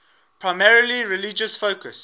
primarily religious focus